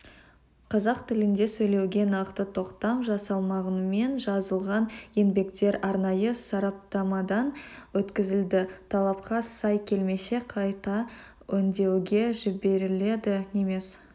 қазақ тілінде сөйлеуге нақты тоқтам жасалмағанымен жазылған еңбектер арнайы сараптамадан өткізілді талапқа сай келмесе қайта өңдеуге жіберіледі немес